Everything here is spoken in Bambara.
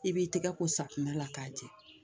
I b'i tɛgɛ ko safinɛ la k'a jɛ